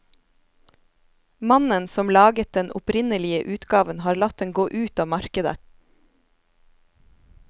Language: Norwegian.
Mannen som laget den opprinnelige utgaven har latt den gå ut av markedet.